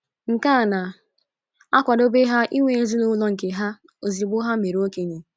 Nke a na - akwadebe ha inwe ezinụlọ nke ha ozugbo ha mere okenye.